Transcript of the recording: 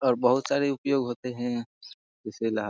और बहुत सारे उपयोग होते हैं। इसे लहा --